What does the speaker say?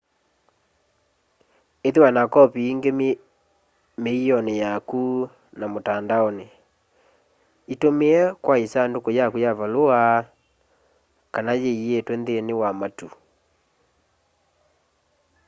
ithiwa na kopi ingi miioni yaku na mutandaoni itumie kwa isanduku yaku ya valua kana yiyitwe nthini wa matu”